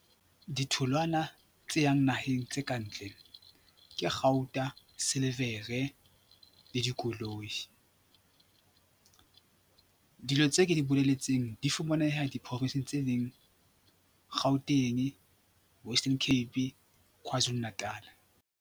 Ditholwana tse yang naheng tse ka ntle ke kgauta, silivere le dikoloi. Dilo tse ke di boleletseng di fumaneha diprofinsing tse leng Gauteng, Western Cape, Kwazulu Natal.